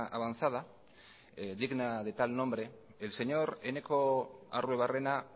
avanzada digna de tal nombre el señor eneko arruebarrena